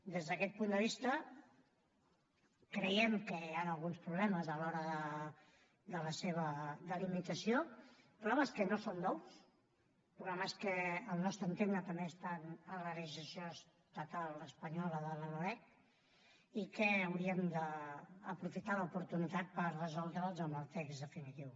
des d’aquest punt de vista creiem que hi han alguns problemes a l’hora de la seva delimitació problemes que no són nous problemes que al nostre entendre també estan en la legislació estatal espanyola de la loreg i que hauríem d’aprofitar l’oportunitat per resoldre’ls amb el text definitiu